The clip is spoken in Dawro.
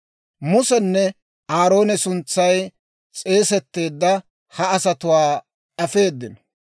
Musenne Aarooni suntsay s'eesetteedda ha asatuwaa afeedino.